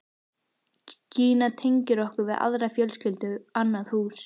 Gína tengir okkur við aðra fjölskyldu, annað hús.